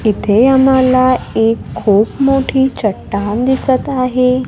इथे आम्हाला एक खूप मोठी चट्टान दिसत आहे.